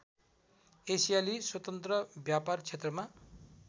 एसियाली स्वतन्त्र व्यापारक्षेत्रमा